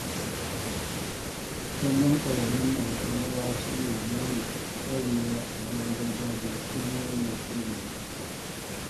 Kallon ƙwararrun masu rawa suna nuna ƙwarewa a rawar gargajiya kullum yana burge ni sosai.